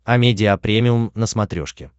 амедиа премиум на смотрешке